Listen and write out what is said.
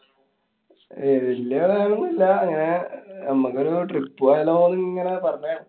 ഏർ വല്യേ vibe ഒന്നുല്ല്യാ. ങ്ങനെ നമ്മക്കൊരു trip പോയാലോന്നുങ്ങനെ പറഞ്ഞ~